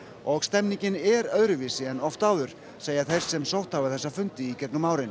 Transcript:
og stemningin er öðruvísi en oft áður segja þeir sem sótt hafa þessa fundi í gegnum árin